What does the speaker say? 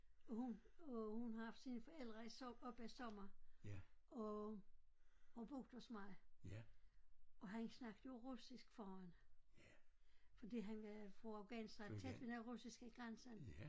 Hun øh hun har haft sine forældre i op af sommer og og boet hos mig og han snakker jo russisk faren fordi han er fra Afghanistan tæt ved den russiske grænses